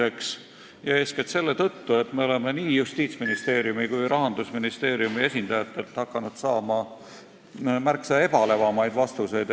Eeskätt on see mulje tekkinud seetõttu, et me oleme nii Justiitsministeeriumi kui ka Rahandusministeeriumi esindajatelt hakanud asja kohta küsides saama märksa ebalevamaid vastuseid.